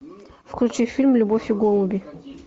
включи фильм любовь и голуби